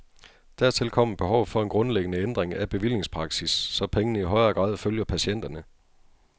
Dertil kommer behovet for en grundlæggende ændring af bevillingspraksis, så pengene i højere grad følger patienterne.